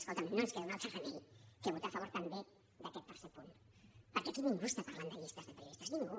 escolta’m no ens queda un altre remei que votar favor també d’aquest tercer punt perquè aquí ningú està parlant de llistes de periodistes ningú